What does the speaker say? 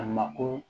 A mako